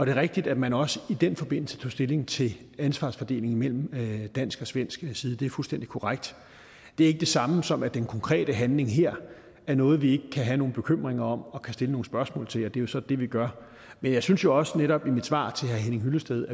er rigtigt at man også i den forbindelse tog stilling til ansvarsfordelingen mellem dansk og svensk side det er fuldstændig korrekt det er ikke det samme som at den konkrete handling her er noget vi ikke kan have nogle bekymringer om og kan stille nogle spørgsmål til det er jo så det vi gør men jeg synes jo også netop i mit svar til herre henning hyllested